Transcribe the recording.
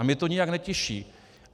A mě to nijak netěší.